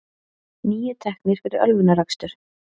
Níu teknir fyrir ölvunarakstur